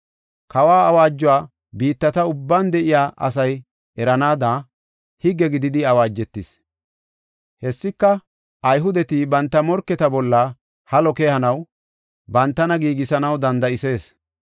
Kawa awaajuwa biittata ubban de7iya asay eranaada, higge gididi awaajetis. Hessika Ayhudeti banta morketa bolla halo keyanaw bantana giigisanaw danda7isees.